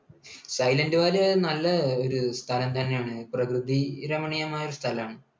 Silent Valley അത് നല്ല ഒരു സ്ഥലം തന്നെയാണ്. പ്രകൃതിരമണീയമായ ഒരു സ്ഥലമാണ്.